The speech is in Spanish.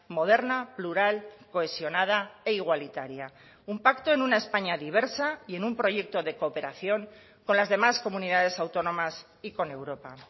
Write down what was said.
moderna plural cohesionada e igualitaria un pacto en una españa diversa y en un proyecto de cooperación con las demás comunidades autónomas y con europa